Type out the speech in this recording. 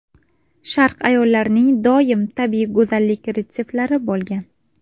Sharq ayollarining doim tabiiy go‘zallik retseptlari bo‘lgan.